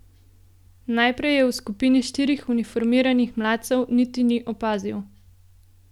Najprej je v skupini štirih uniformiranih mladcev niti ni opazil.